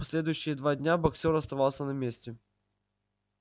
последующие два дня боксёр оставался на месте